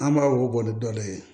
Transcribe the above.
An b'a wuguba ni dɔ de ye